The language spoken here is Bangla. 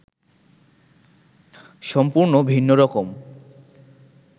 সম্পূর্ন ভিন্নরকম